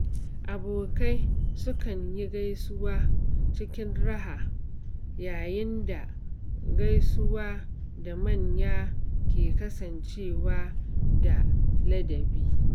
Abokai sukan yi gaisuwa cikin raha, yayin da gaisuwa da manya ke kasancewa da ladabi.